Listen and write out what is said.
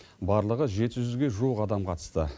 барлығы жеті жүзге жуық адам қатысты